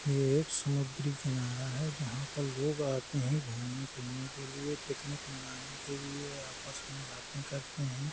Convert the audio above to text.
यह एक समुंदरी किनारा है। जहाँ पर लोग आते हैं घुमने फिरने के लिए पिकनिक मनाने के लिए आपस में बाते करते हैं।